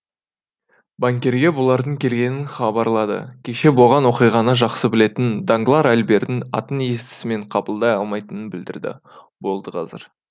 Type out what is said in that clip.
банкирге бұлардың келгенін хабарлады кеше болған оқиғаны жақсы білетін данглар альбердің атын естісімен қабылдай алмайтынын білдірді болды қазір